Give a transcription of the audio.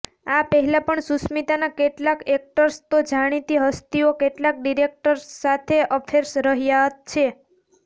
આ પહેલાં પણ સુષ્મિતાના કેટલીાક એક્ટર્સ તોજાણીતી હસ્તીઓ કેટલાક ડીરેક્ટર્સ સાથે અફેર્સ રહ્યા છે